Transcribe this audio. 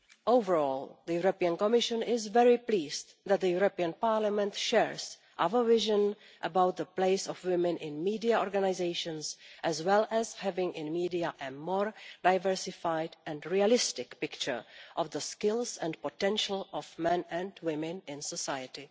Overall, the European Commission is very pleased that the European Parliament shares our vision about the place of women in media organisations as well as having in media a more diversified and realistic picture of the skills and potential of men and women in society.